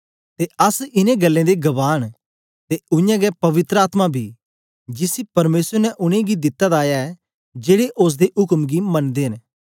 ते अस इनें गल्लें दे गवाह न ते उय्यां गै पवित्र आत्मा बी जिसी परमेसर ने उनेंगी दिता दा ऐ जेड़े ओसदे उक्म गी मनदे न